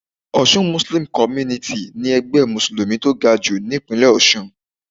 Osun Muslim Community ni ẹgbẹ́ mùsùlùmí tó gajù nípínlẹ̀ Ọ̀sun